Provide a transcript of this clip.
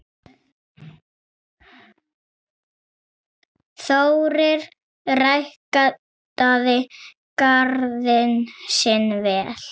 Þórir ræktaði garðinn sinn vel.